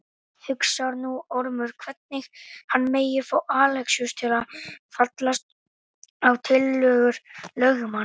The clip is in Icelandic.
Hugsar nú Ormur hvernig hann megi fá Alexíus til að fallast á tillögur lögmanns.